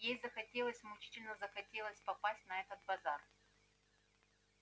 ей захотелось мучительно захотелось попасть на этот базар